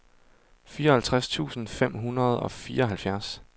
fireoghalvtreds tusind fem hundrede og fireoghalvfjerds